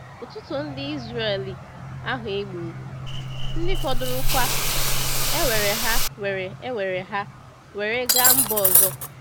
Ụtụtụ ndị Israeli ahụ e gburu, ndị fọdụrụkwa ewere ha were ewere ha were gaa mba ọzọ.